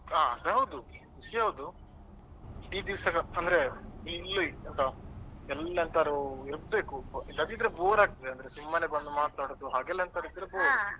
ಹಾ ಅದು ಹೌದು ಖುಷಿ ಹೌದು ಇಡೀ ದೀವ್ಸಾ ಅಂದ್ರೆ ಇಲ್ಲಿ ಎಂಥ ಎಲ್ಲರೂ ಇರ್ಬೇಕು ಇಲ್ಲದಿದ್ರೆ bore ಆಗ್ತದೆ ಸುಮ್ಮನೆ ಬಂದು ಮಾತಾಡುವುದು ಹಾಗೆಲ್ಲ ಎಂತದ್ದಿದ್ರೆ bore .